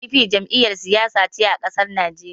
PDP Jam'iyar Siyasa ce a ƙasar Naijeriya